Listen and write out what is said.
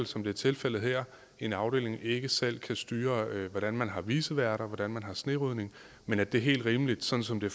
som det er tilfældet her i en afdeling ikke selv kan styre hvordan man har viceværter og hvordan man har snerydning men at det er helt rimeligt sådan som det